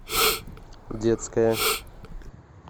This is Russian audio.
детская